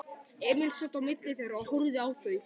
Emil sat á milli þeirra og horfði á þau.